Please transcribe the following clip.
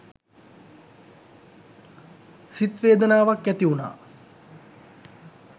සිත් වේදනාවක් ඇති වුණා.